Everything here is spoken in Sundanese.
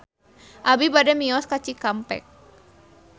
Abi bade mios ka Cikampek